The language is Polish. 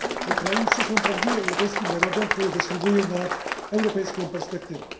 Ukraińcy są prawdziwie europejskim narodem, który zasługuje na europejską perspektywę.